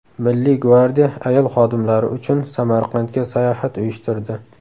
Milliy gvardiya ayol xodimlari uchun Samarqandga sayohat uyushtirdi.